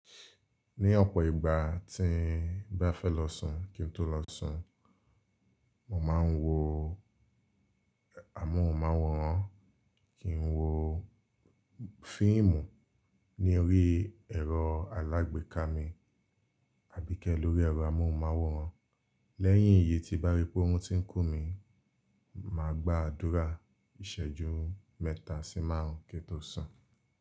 Ní ọ̀pọ̀ ìgbà tí n bá fẹ́ lọ sùn kí n tó lọ sùn, mò máa ń wo amóhùnmáwòrán. Kí n wo fíìmù ní orí ẹ̀rọ alágbèéká mi àbí ké lórí ẹ̀rọ amóhùnmáwòrán. Lẹ́yìn èyí tí bá rí pé oórún tí ń kú mi, màá gba àdúrà ìsẹ́jú mẹ́ta sí márùn-ún kí n tó sùn.